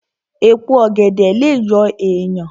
Èpo ọ̀gẹ̀dẹ̀ lè yọ èèyàn